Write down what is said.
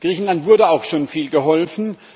Griechenland wurde auch schon viel geholfen.